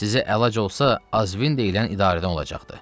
Sizə əlac olsa, Azvin deyilən idarədən olacaqdır.